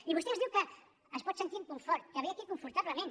i vostè ens diu que es pot sentir amb confort que ve aquí confortablement